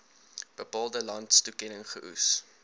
bepaalde landstoekenning geoes